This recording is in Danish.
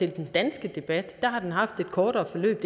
i den danske debat har den haft et kortere forløb